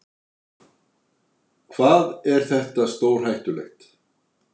Hvað er þetta stórhættulegt?